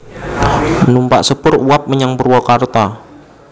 Numpak sepur uap menyang Purwakarta